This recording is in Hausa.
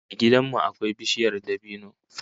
A gidan mu akwai bishiyar dabino